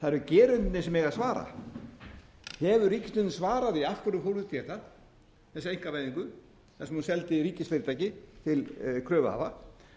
það eru gerendurnir sem eiga að svara hefur ríkisstjórnin svarað því af hverju hún fór út í þetta þessa einkavæðingu þar sem hún seldi ríkisfyrirtæki til kröfuhafa